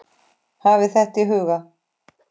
Hafið þetta í huga.